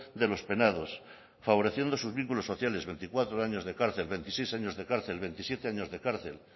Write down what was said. de los penados favoreciendo sus vínculos sociales veinticuatro años de cárcel veintiséis años de cárcel veintisiete años de cárcel